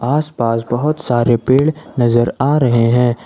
आस पास बहुत सारे पेड़ नजर आ रहे हैं।